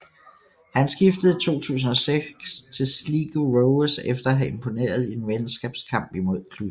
Han skiftede i 2006 til Sligo Rovers efter at have imponeret i en venskabskamp imod klubben